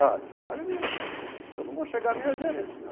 Ah, tio, aí, eu não vou chegar nem a gerente não.